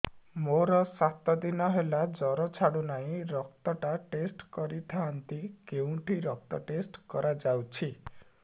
ମୋରୋ ସାତ ଦିନ ହେଲା ଜ୍ଵର ଛାଡୁନାହିଁ ରକ୍ତ ଟା ଟେଷ୍ଟ କରିଥାନ୍ତି କେଉଁଠି ରକ୍ତ ଟେଷ୍ଟ କରା ଯାଉଛି